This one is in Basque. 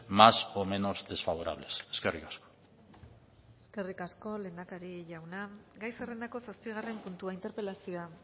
más o menos desfavorables eskerrik asko eskerrik asko lehendakari jauna gai zerrendako zazpigarren puntua interpelazioa